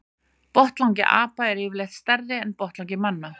Botnlangi apa er yfirleitt stærri en botnlangi manna.